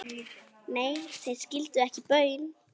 Nei, þeir skildu ekki baun.